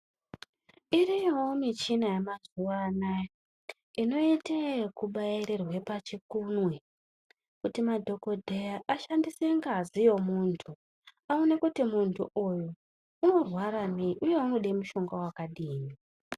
Iriyowo michina yemazuwanaya inoite yekubairirwe pachikunwe kuti madhokodheya ashandise ngazi yemuntu aone kuti muntu uyu unorwara ngei uye unode mushonga wakadini.